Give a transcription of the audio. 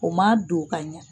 O man don ka ɲa.